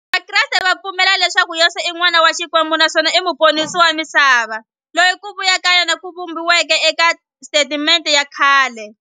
Vakreste va pfumela leswaku Yesu i n'wana wa Xikwembu naswona i muponisi wa misava, loyi ku vuya ka yena ku vhumbiweke e ka Testamente ya khale.